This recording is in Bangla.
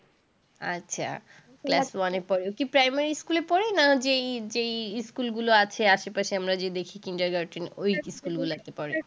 আচ্ছা, class one পড়ে। ও কি primary school পড়ে, না যে school গুলো আছে আশে-পাশে আমরা যে দেখি kindergarten ওই school গুলোতে পড়ে?